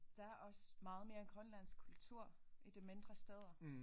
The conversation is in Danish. Der er også meget mere grønlandsk kultur i de mindre steder